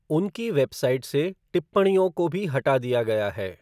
उनकी वेबसाइट से टिप्पणियों को भी हटा दिया गया है।